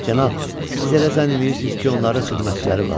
Cənab, siz elə zənn eləyirsiniz ki, onların xidmətçiləri var?